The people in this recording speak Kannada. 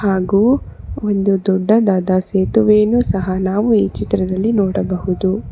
ಹಾಗೂ ಒಂದು ದೊಡ್ಡದಾದ ಸೇತುವೆ ಅನ್ನು ಸಹ ನಾವು ಈ ಚಿತ್ರದಲ್ಲಿ ನೋಡಬಹುದು.